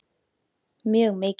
Mjög mikið.